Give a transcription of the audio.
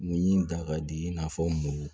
Ni dangari i n'a fɔ mugu